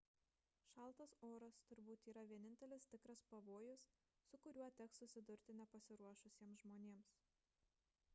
šaltas oras turbūt yra vienintelis tikras pavojus su kuriuo teks susidurti nepasiruošusiems žmonėms